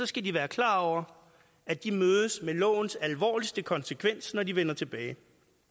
skal de være klar over at de mødes med lovens alvorligste konsekvens når de vender tilbage